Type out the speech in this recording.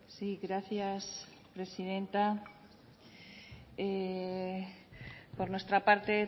sí gracias presidenta por nuestra parte